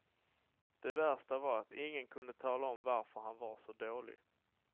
Det värsta var att ingen kunde tala om varför han var så dålig.